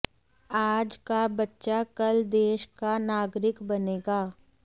आज का बच्चा कल देश का नागरिक बनेगा